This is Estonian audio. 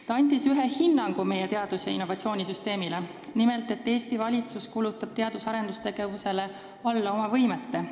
Ta andis meie teadus- ja innovatsioonisüsteemile ühe hinnangu: nimelt, et Eesti valitsus kulutab teadus- ja arendustegevusele alla oma võimete.